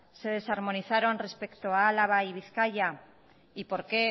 se desarmonizaron respecto a álava y bizkaia y por qué